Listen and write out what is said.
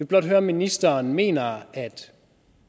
blot høre om ministeren mener at